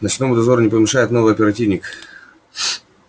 ночному дозору не помешает новый оперативник